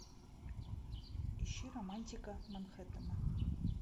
ищи романтика манхеттена